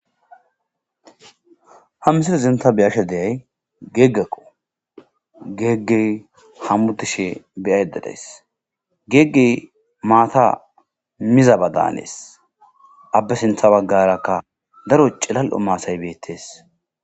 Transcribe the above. Ha misile zinta biyashe deyay geeggakqo geegge hammudishe beyayededays geeggey maata mizabadaanees abbe sintha baggarakka daro cilal7o maasay beettees.